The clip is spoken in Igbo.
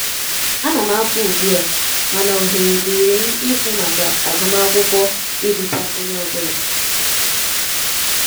um Anam apụ ụgbụ a,mana ohere dirim ikwu maka agum akwụkwo iruta onye ọbụla.